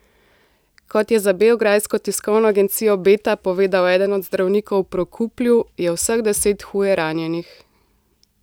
Kot je za beograjsko tiskovno agencijo Beta povedal eden od zdravnikov v Prokuplju, je vseh deset huje ranjenih.